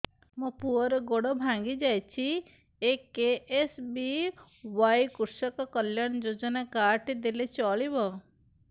ମୋ ପୁଅର ଗୋଡ଼ ଭାଙ୍ଗି ଯାଇଛି ଏ କେ.ଏସ୍.ବି.ୱାଇ କୃଷକ କଲ୍ୟାଣ ଯୋଜନା କାର୍ଡ ଟି ଦେଲେ ଚଳିବ